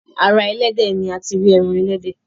ara elédè ní àti ri èràn elédè